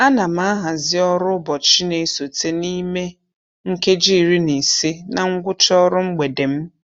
A na m ahazị ọrụ ụbọchị na-esote n'ime nkeji iri na ise na ngwụcha ọrụ mgbede m.